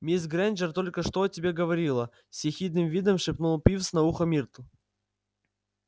мисс грэйнджер только что о тебе говорила с ехидным видом шепнул пивз на ухо миртл